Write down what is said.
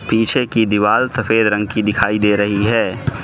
पीछे की दीवाल सफेद रंग की दिखाई दे रही है।